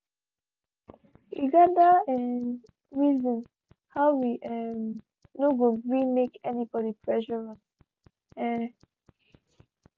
we gather um reason how we um no go gree make anybody pressure us. um